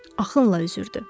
Axınla üzürdü.